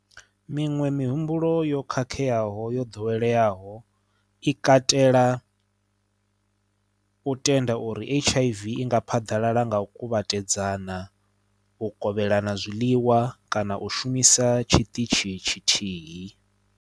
Miṅwe mihumbulo yo khakheaho yo ḓoweleaho i katela u tenda uri H_I_V i nga phaḓalala nga u kuvhatedzana u kovhelana zwiḽiwa kana u shumisa tshiṱitshi tshithihi.